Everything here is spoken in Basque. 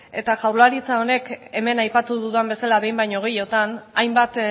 eta jaurlaritzak honek hemen aipatu dudan bezala behin baino gehiotan hainbat